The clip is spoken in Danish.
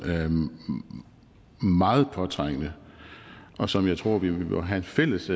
meget påtrængende og som jeg tror vi må have en fælles